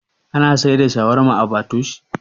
Ana siyar da shawarma a patoosh?